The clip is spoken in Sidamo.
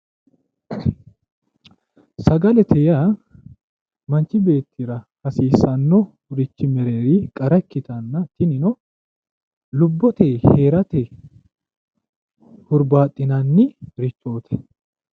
Sagalete yaa manchi beettira hasiisannorichi mererinni qara ikkitanna tinino lubbote heerate hurbaaxxinannirichooti.